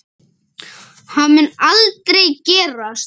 Það mun aldrei gerast.